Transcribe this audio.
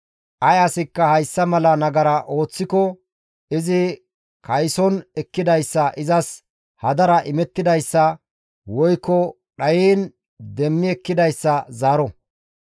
ay asikka hayssa mala nagara ooththiko izi kayson ekkidayssa izas hadara imettidayssa woykko dhayiin demmi ekkidayssa zaaro.